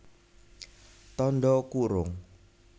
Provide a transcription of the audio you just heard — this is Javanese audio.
Tandha kurung